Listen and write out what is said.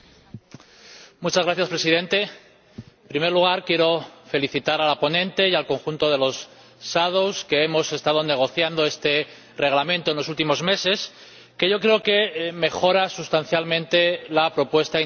Señor Presidente, en primer lugar quiero felicitar a la ponente y al conjunto de los ponentes alternativos que hemos estado negociando este Reglamento en los últimos meses, que yo creo que mejora sustancialmente la propuesta inicial de la Comisión.